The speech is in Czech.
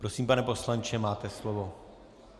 Prosím, pane poslanče, máte slovo.